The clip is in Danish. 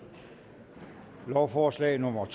lovforslag nummer